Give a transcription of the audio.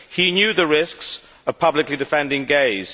He knew the risks of publicly defending gays.